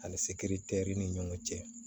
Ani sekiri teri ni ɲɔgɔn cɛ